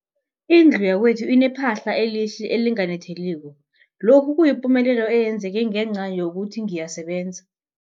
Indlu yakwethu inephahla elihle, elinganetheliko, lokhu kuyipumelelo eyenzeke ngenca yokuthi ngiyasebenza.